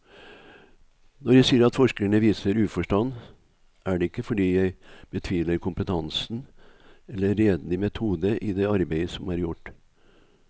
Når jeg sier at forskerne viser uforstand, er det ikke fordi jeg betviler kompetansen eller redelig metode i det arbeid som er gjort.